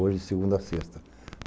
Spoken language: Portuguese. Hoje, de segunda a sexta.